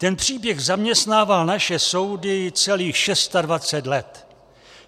Ten příběh zaměstnával naše soudy celých 26 let.